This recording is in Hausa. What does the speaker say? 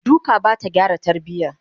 duka Bata gyara tarbiya